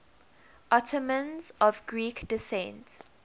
ottomans of greek descent